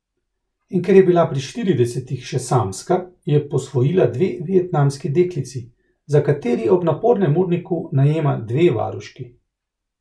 In ker je bila pri štiridesetih še samska, je posvojila dve vietnamski deklici, za kateri ob napornem urniku najema dve varuški.